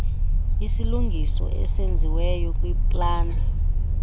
isilungiso esenziweyo kwiplani